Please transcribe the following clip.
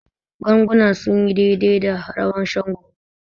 Ganguna sun yi daidai da rawan Shango.